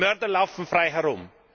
Die Mörder laufen frei herum.